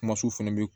Kuma sufɛ bi